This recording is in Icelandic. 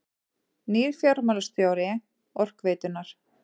Nýr fjármálastjóri Orkuveitunnar